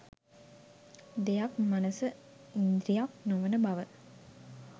දෙයක් මනස ඉන්ද්‍රියක් නොවන බව